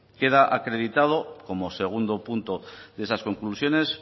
queda acreditado como segundo punto de esas conclusiones